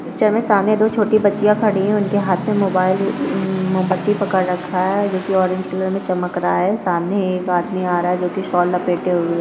सामने दो छोटी बच्चियां खड़ी हुई है उनके हाथ में मोबाइल मोमबत्ती पकड़ रखा है जोकि ऑरेंज कलर मे चमक रहा है सामने एक आदमी आ रहा है जो की शॉल लपेटे हुए है।